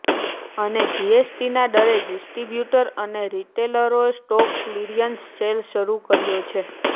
અને જીએસટીના ડરે ડિસ્ટ્રીબ્યૂટર અને રિટેલરે સ્ટોક ક્લીયરન્સ સેલ શરૂ કર્યો છે